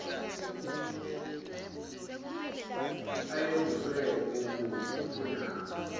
ayebuzwe bubude kunabo